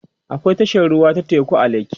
akwai tashar ruwa ta teku a lekki